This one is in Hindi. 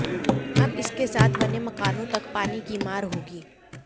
अब इसके साथ बने मकानों तक पानी की मार होगी